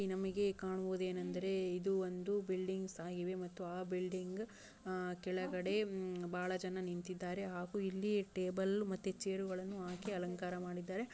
ನಮಿಗೆ ಕಾಣುವುದೆನೆಂದರೆ ಇದು ಒಂದು ಬಿಲ್ಡಿಂಗ್ಸ್ ಆಗಿವೆ ಮತ್ತು ಆ ಬಿಲ್ಡಿಂಗ್ ಕೆಳಗಡೆ ಬಹಳ ಜನ ನಿಂತ್ತಿದ್ದಾರೆ. ಹಾಗು ಇಲ್ಲಿ ಟೇಬಲ್ ಮತ್ತೆ ಚೇರ್ಗಳನ್ನು ಹಾಕಿ ಅಲಂಕಾರ ಮಾಡಿದ್ದಾರೆ.